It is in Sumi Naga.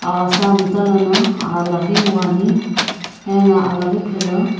aghasa mtalono alaghi wuani ena alaghi phela.